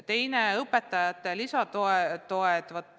Teiseks õpetajate lisatugi.